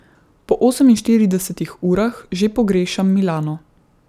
Po oseminštiridesetih urah že pogrešam Milano.